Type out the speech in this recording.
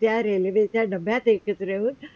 त्यांचा रेल्वे च्या डब्यात एकत्र येऊन